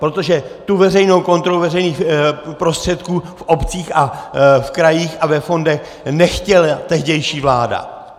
Protože tu veřejnou kontrolu veřejných prostředků v obcích a v krajích a ve fondech nechtěla tehdejší vláda.